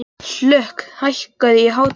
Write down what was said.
Hlökk, hækkaðu í hátalaranum.